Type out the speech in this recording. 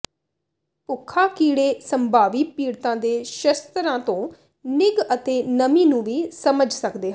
ਭੁੱਖਾ ਕੀੜੇ ਸੰਭਾਵੀ ਪੀੜਤਾਂ ਦੇ ਸ਼ਸਤਰਾਂ ਤੋਂ ਨਿੱਘ ਅਤੇ ਨਮੀ ਨੂੰ ਵੀ ਸਮਝ ਸਕਦੇ ਹਨ